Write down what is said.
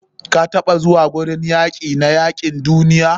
kataɓa zuwa gurin yaki na yakin duniya?